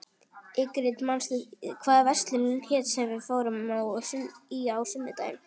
Ingrid, manstu hvað verslunin hét sem við fórum í á sunnudaginn?